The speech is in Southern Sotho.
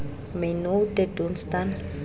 my nou te doen staan